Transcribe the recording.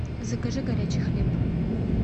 закажи горячий хлеб